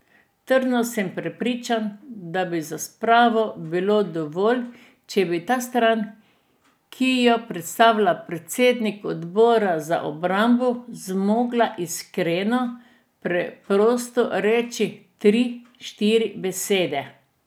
Trdno sem prepričan, da bi za spravo bilo dovolj, če bi ta stran, ki jo predstavlja predsednik odbora za obrambo, zmogla iskreno, preprosto reči tri, štiri besede.